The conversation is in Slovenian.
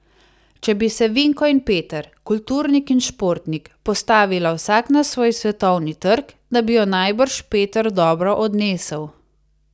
Če bi se Vinko in Peter, kulturnik in športnik, postavila vsak na svoj svetovni trg, da bi jo najbrž Peter dobro odnesel.